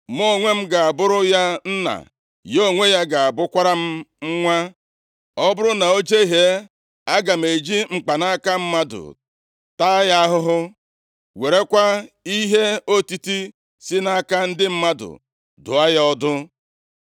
Mụ onwe m ga-abụrụ ya nna. Ya onwe ya ga-abụkwara m nwa. Ọ bụrụ na o jehie, aga m eji mkpanaka mmadụ taa ya ahụhụ. Werekwa ihe otiti si nʼaka ndị mmadụ dụọ ya ọdụ.